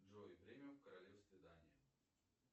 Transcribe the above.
джой время в королевстве дания